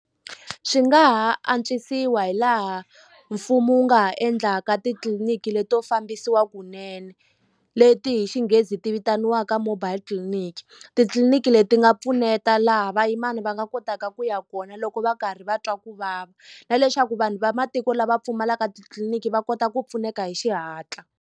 Swi nga ha antswisiwa hi laha mfumo wu nga ha endlaka titliliniki leto fambisiwa kunene leti hi xinghezi ti vitaniwaka mobile clinic titliliniki leti nga pfuneta laha vayimani va nga kotaka ku ya kona loko va karhi va twa ku vava na leswaku vanhu va matiko lava pfumalaka titliniki va kota ku pfuneka hi xihatla.